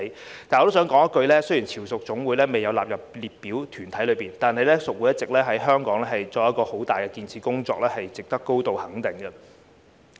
但是，我想說一句，雖然潮屬總會未有納入列明團體上，但屬會一直在香港做很大的建設工作，值得高度肯定。